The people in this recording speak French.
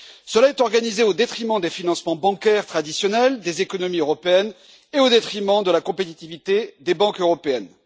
Cela est organisé au détriment des financements bancaires traditionnels, des économies européennes et au détriment de la compétitivité des banques européennes.